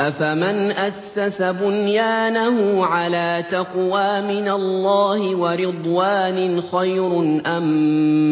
أَفَمَنْ أَسَّسَ بُنْيَانَهُ عَلَىٰ تَقْوَىٰ مِنَ اللَّهِ وَرِضْوَانٍ خَيْرٌ أَم